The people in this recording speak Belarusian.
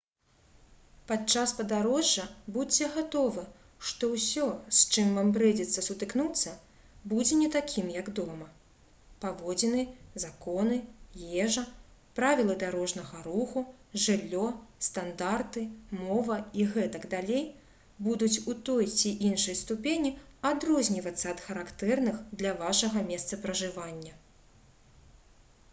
падчас падарожжа будзьце гатовы што ўсё с чым вам прыйдзецца сутыкнуцца будзе не такім як дома паводзіны законы ежа правілы дарожнага руху жыллё стандарты мова і г.д. будуць у той ці іншай ступені адрознівацца ад характэрных для вашага месца пражывання